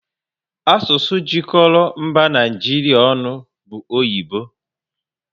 Asụsụ jikọrọ mba Naijiria ọnụ bụ oyibo